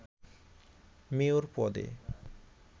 mayor পদে